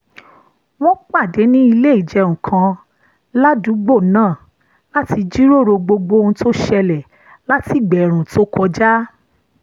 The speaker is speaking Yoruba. wọ́n pàdé ní ilé ìjẹun kan ládùúgbò náà láti jíròrò gbogbo ohun tó ṣẹlẹ̀ láti ìgbà ẹ̀ẹ̀rùn tó kọjá